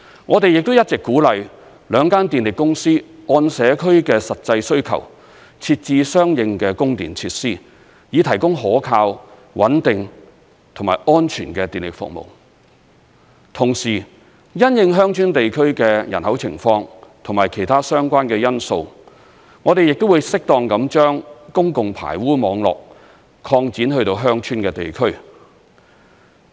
我們亦一直鼓勵兩間電力公司按社區的實際需求，設置相應的供電設施，以提供可靠、穩定和安全的電力服務；同時，因應鄉村地區的人口情況及其他相關的因素，我們亦會適當地將公共排污網絡擴展至鄉村地區。